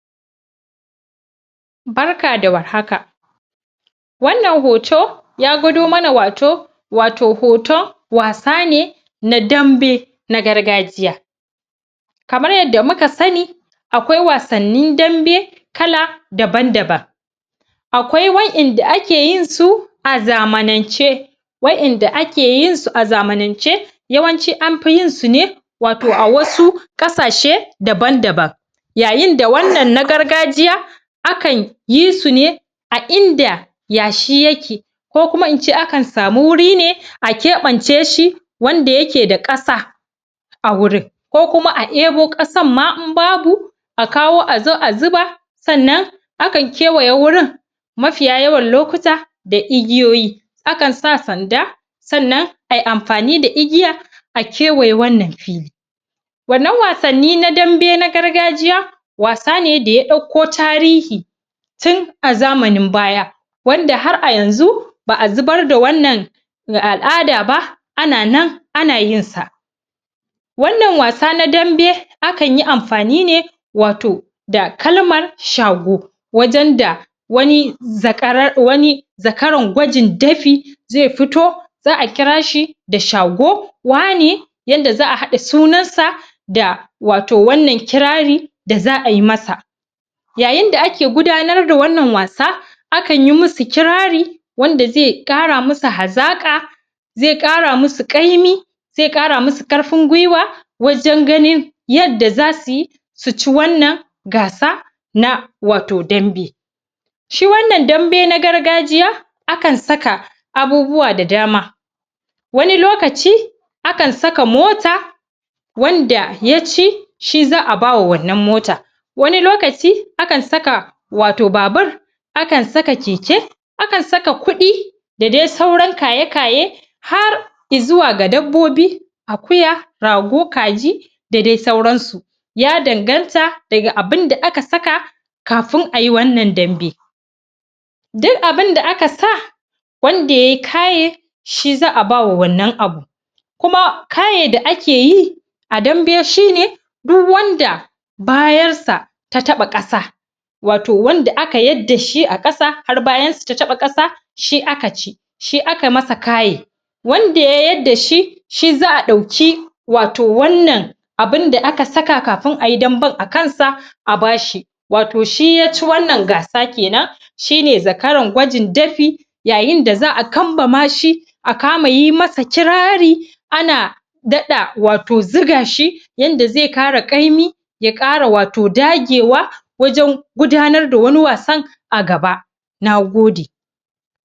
Barka da warhaka wannan hoto ya gwado mana wato wato hoton wasa ne na dambe na gargajiya kamar yadda muka sani akwai wasannin dambe kala daban-daban akwai wa'yanda ake yinsu a zamanance wa'yanda ake yin su a zamanan ce yawanci anfi yinsu ne wato a wasu ƙasashe daban daban yayin da wannan na gargajiya akan yi su ne a ina da yashi yake ko kuma in ce akan sami wuri ne, a keɓance shi wanda yake da ƙasa a wurin ko kuma a ɗebo ƙasar ma im babu a kawo azo a zuba sannan akan kewaye wurin mafiya yawan lokuta da igiyoyi akan sa sanda sannan ayi amfani da igiya a kewaye wannan fili wannan wasani na Dambe na gargajiya wasa ne da ya ɗauko tarihi tin a zamanin baya wanda har a yanzu ba'a zubar da wannan al'ada ba a nan na yin sa. Wannan wasa na Danbe akan yi amfani ne wato da kalmar Shago wajan da wani zaƙarar wani zakaran gwajin dafi zai fito za'a kira shi da shago wane yadda za'a haɗa sunan sa da wato wannan kirari da za'ayi masa yayin da ake gudanar da wannan wasa akan yi musu kirari wanda zai ƙara musu hazaƙa zai ƙara musu ƙaimi zai ƙara musu ƙarfin gwiwa wajan ganin yadda zasuyi suci wannan gasa na wato Dambe shi wannan Dambe na gargajiya akan saka abubuwa da dama wani lokaci akan saka mota wanda yaci shi za'a bawa wannan mota wani lokaci akan saka wato babur akan saka keke akan saka kuɗi da dai sauran kaye kaye har izuwa ga dabbobi Akuya Rago, Kaji da dai sauransu ya danganta daga abinda aka saka kafin ai wannan Dambe duk abinda aka sa wanda yayi kaye shi za'a bawa wannan abu kuma kaye da ake yi a dambe shine duk wanda bayar sa ta taɓa ƙasa wato wanda aka yarda shi a ƙasa har bayansa ta taɓa ƙasa shi aka ci shi aka masa kaye wanda ya yadda da shi shi za'a ɗauki wato wannan abunda aka saka kafin ayi damben akan sa a bashi wato shi yaci wannan gasa kenan shine zakaran gwajin dafi yayin da za'a kambama shi a kama yi masa kirari ana daɗa wato ziga shi yadda zai ƙara ƙaimi ya ƙara wato dagewa wajan gudanar da wani wasan a gaba. Nagode